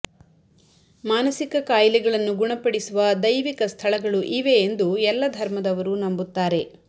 ಮಾನಸಿಕ ಕಾಯಿಲೆಗಳನ್ನು ಗುಣಪಡಿಸುವ ದೈವಿಕ ಸ್ಥಳಗಳು ಇವೆ ಎಂದು ಎಲ್ಲ ಧರ್ಮದವರು ನಂಬುತ್ತಾರೆ